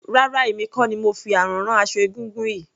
Rárá emi kò ni mo fi àrán rán aṣọ egúngún yìí.